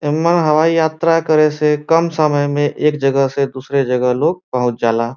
एमे हवाई यात्रा करे से कम समय मे एक जगह से दूसरी जगह लोग पहुच जला।